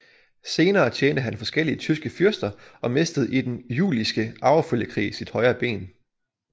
Senere tjente han forskellige tyske fyrster og mistede i Den Jülichske Arvefølgekrig sit højre ben